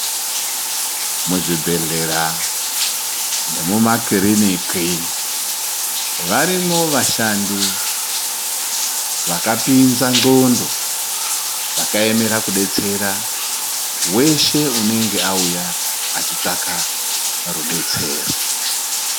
Muzvibhedhlera nemumakiriniki varimwo vashandi vakapinza ngxondo vakaemera kudetsera weshe unenge auya achitsvaka rudetsero.